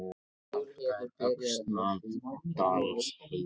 Hálka er á Öxnadalsheiði